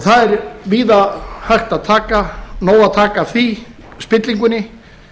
það er víða af nógu að taka af því spillingunni